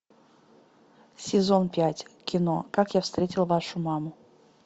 сезон пять кино как я встретил вашу маму